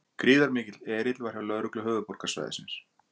Gríðarmikill erill var hjá lögreglu höfuðborgarsvæðisins